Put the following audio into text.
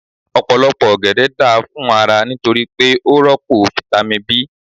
Ọ̀pọ̀lọpọ̀ ọ̀gẹ̀dẹ̀ da fún ara nítorí pé ó rọ́pò fitami B.